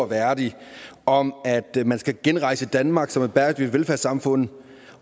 værdig om at man skal genrejse danmark som et bæredygtigt velfærdssamfund